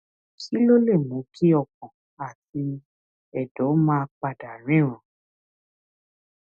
kí ló lè mú kí ọkàn àti èdò máa pa dà ríran